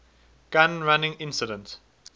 gun running incident